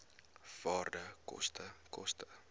waarde koste koste